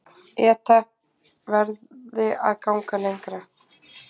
ETA verði að ganga lengra